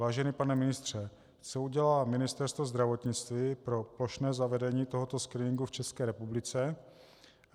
Vážený pane ministře, co udělá Ministerstvo zdravotnictví pro plošné zavedení tohoto screeningu v České republice?